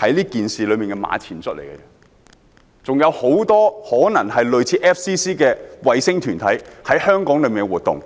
是這件事的馬前卒而已，可能還有很多類似 FCC 的衞星團體在香港活動。